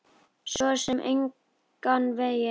Svo sem engan veginn